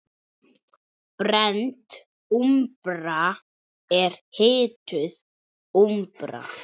Brennd úmbra er hituð úmbra.